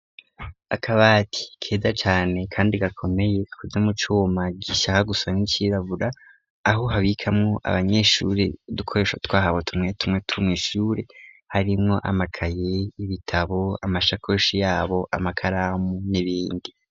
Aakabati keza cane kandi gakomeye kube mu cuma gishyaka gusa n'icyirabura aho habikamwo abanyeshuri dukoresha twahabo tumwe tumwe tumwishuri harimwo amakaye ibitabo amashakoshi yabo amakaramu n'ibindi.